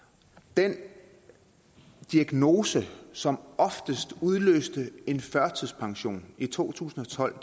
den diagnose som oftest udløste en førtidspension i to tusind og tolv